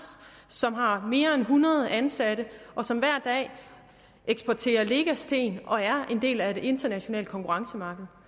som har mere end hundrede ansatte og som hver dag eksporterer lecasten og er en del af et internationalt konkurrencemarked